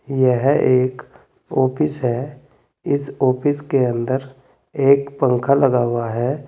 यह एक ऑफिस है इस ऑफिस के अंदर एक पंखा लगा हुआ है।